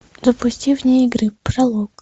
запусти вне игры пролог